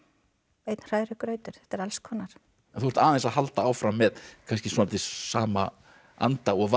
einn hrærigrautur þetta er alls konar en þú ert aðeins að halda áfram með kannski svolítið sama anda og var